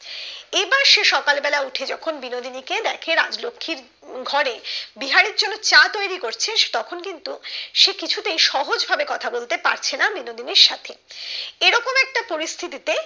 সে সকাল বেলা উঠে যখন বিনোদিনী কে দেখে রাজলক্ষির ঘরে বিহারীর জন্য চা তৈরি করছে তখন কিন্তু সে কিছুতেই সহজ ভাবে কথা বলতে পারছে না বিনোদিনীর সাথে এরকম একটা পরিস্থিতি তে